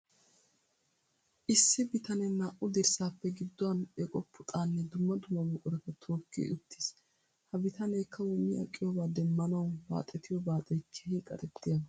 Issi bitanee naa''u dirssaappe gidduwan eqo puxaanne dumma dumma buqurata tookki uttiis. Ha bitanee kawo mi aqiyoobaa demmanawu baaxetiyo baaxee keehi qarettiyaaba.